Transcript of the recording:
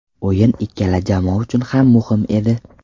O‘yin ikkala jamoa uchun ham muhim edi.